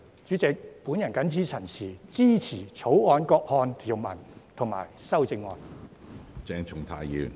主席，我謹此陳辭，支持《條例草案》各項條文和修正案。